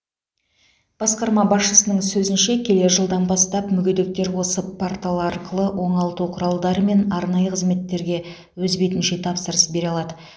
басқарма басшысының сөзінше келер жылдан бастап мүгедектер осы портал арқылы оңалту құралдары мен арнайы қызметтерге өз бетінше тапсырыс бере алады